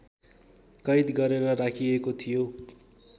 कैद गरेर राखिएको थियो।